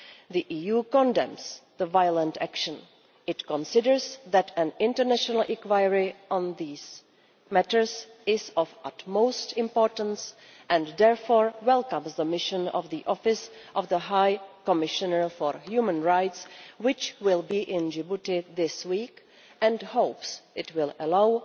The EU condemns the violent action and considers that an international inquiry into these matters is of utmost importance and therefore welcomes the mission of the Office of the High Commissioner for Human Rights, which will be in Djibouti this week, and hopes it will allow